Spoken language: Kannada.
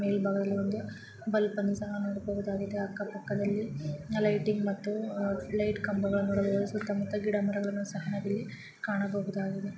ಮೇಲ್ಭಾಗದಲ್ಲಿ ಒಂದು ಬಲ್ಪ್ ಅನ್ನು ಸಹ ನೋಡಬಹುದಾಗಿದೆ ಅಕ್ಕ-ಪಕ್ಕದಲ್ಲಿ ಲೈಟಿಂಗ್ ಮತ್ತು ಲೈಟ್ ಕಂಬಗಳನ್ನು ನೋಡಬಹುದು ಸುತ್ತ ಮುತ್ತ ಗಿಡ ಮರಗಳನ್ನು ಸಹ ನಾವಿಲ್ಲಿ ಕಾಣಬಹುದಾಗಿದೆ.